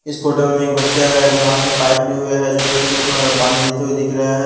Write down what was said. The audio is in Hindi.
इस फोटो में एक बच्चा है जो हाथ में पाइप लिए हुए है जो पेड़ को प पानी देते हुए दिख रहे हैं।